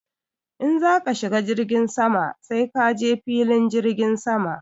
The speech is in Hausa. In za ka shiga jirgin sama sai ka je filin jirgin sama.